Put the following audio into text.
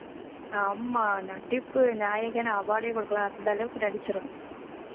ஆமா நடிப்பு நாயகன் award ஏ கொடுக்கலாம் அந்த அளவுக்கு நடிச்சுருவான்